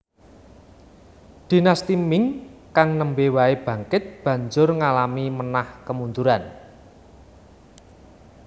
Dinasti Ming kang nembe wae bangkit banjur ngalami menah kemunduran